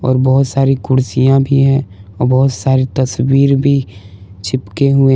और बहुत सारी कुर्सियां भी हैं और बहुत सारी तस्वीर भी चिपके हुए।